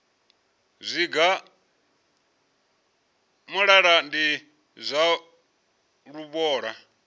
zwigwa muṱaḓa ndi zwa luvhola